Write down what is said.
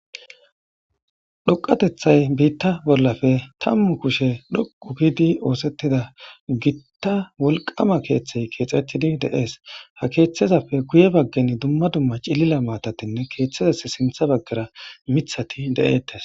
Dhoqatetay bitappe tamu kushe dhoqu gidi osetida gita wolqama keththay kexetidi dee's ha keththazappe guye bagan duma duma cililo matati keththappe sinththa bagara mitati dee'tes